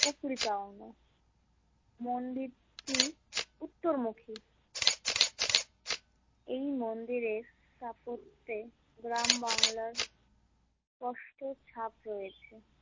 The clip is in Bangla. উপরি পাওনা মন্দিরটি উত্তরমুখী এই মন্দিরের স্থাপত্যে গ্রামবাংলার কষ্টের ছাপ রয়েছে।